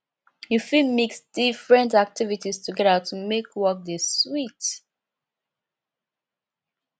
you fit mix different activities together to make work dey sweet